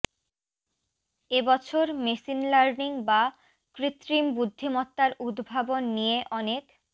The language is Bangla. এ বছর মেশিন লার্নিং বা কৃত্রিম বুদ্ধিমত্তার উদ্ভাবন নিয়ে অনেক